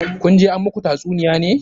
Kun je an muku tatsuniya ne?